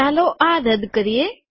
ચાલો આ રદ કરીએ